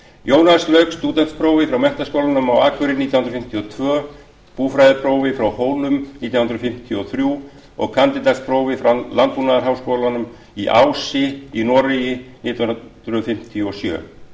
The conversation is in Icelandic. jónas lauk stúdentsprófi frá menntaskólanum á akureyri nítján hundruð fimmtíu og tvö búfræðiprófi frá hólum nítján hundruð fimmtíu og þrjú og kandídatsprófi frá landbúnaðarháskólanum á ási í noregi nítján hundruð fimmtíu og sjö